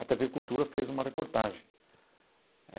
A tê vê Cultura fez uma reportagem.